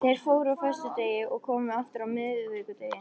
Þeir fóru á föstudegi og komu aftur á miðvikudegi.